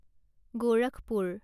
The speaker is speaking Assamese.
গোৰখপুৰ